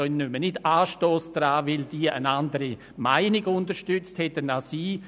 Ich nehme nicht Anstoss daran, weil diese Regierungsmitglieder eine andere Meinung unterstützt hätten als ich.